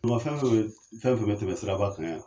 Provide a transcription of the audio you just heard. Bolima fen fɛn bɛ, fɛn fɛn bɛ tɛmɛ siraba ka yan.